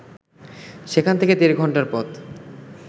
সেখান থেকে দেড় ঘন্টার পথ